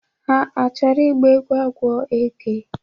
Ha achọrọ ịgba egwu agwọ eke?